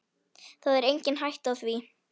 Það er engin hætta á því.